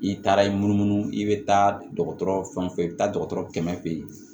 I taara i munu munumunu i bɛ taa dɔgɔtɔrɔ fɛn fɛn bɛ taa dɔgɔtɔrɔ kɛmɛ fɛ yen